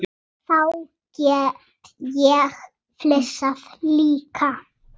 Við tökum afstöðu gegn því.